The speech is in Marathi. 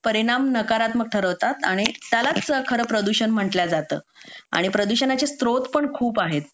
परिणाम नकारात्मक ठरवतात म्हणजे त्यालाच खरंतर प्रदूषण म्हटल्या जातो आणि प्रदूषणाचे स्त्रोत पण खूप आहेत